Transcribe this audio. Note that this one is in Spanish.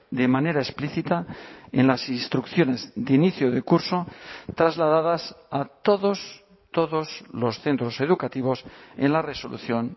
de manera explícita en las instrucciones de inicio de curso trasladadas a todos todos los centros educativos en la resolución